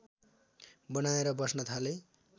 बनाएर बस्न थाले